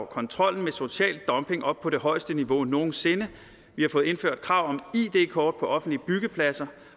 kontrollen med social dumping op på det højeste niveau nogen sinde vi har fået indført krav om id kort på offentlige byggepladser